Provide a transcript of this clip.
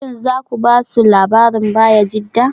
Shin za ku ba su labarin Bayajidda?